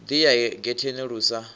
ḓi ya getheni lu sa